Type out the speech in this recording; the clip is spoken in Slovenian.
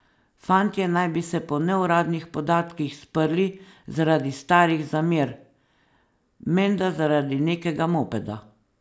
Fantje naj bi se po neuradnih podatkih sprli zaradi starih zamer, menda zaradi nekega mopeda.